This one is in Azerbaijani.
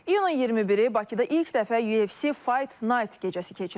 İyunun 21-i Bakıda ilk dəfə UFC Fight Night gecəsi keçiriləcək.